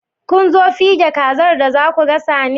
Kunzo fige kazar da zasu gasa ne?